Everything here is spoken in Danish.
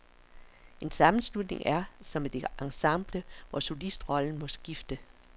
En sammenslutning er som et ensemble, hvor solistrollen må skifte.